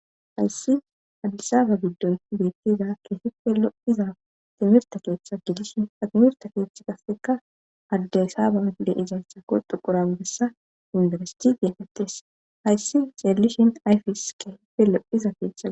Hayssi hadisaba giddon beettiza ke hife lo7iza timirta keeththa gidishin admirta keeththa qasseka hadaysaaba de izayssa korxu qurabessa indaresti geefetties hayssi ceellishin ayfis ke hife lo7iza keetha